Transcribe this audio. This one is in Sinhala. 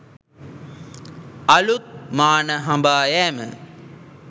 අලුත් මාන හඹායෑම